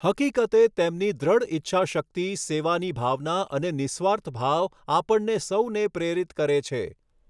હકીકતે, તેમની દૃઢ ઈચ્છાશક્તિ સેવાની ભાવના અને નિઃસ્વાર્થ ભાવ આપણને સહુને પ્રેરિત કરે છે.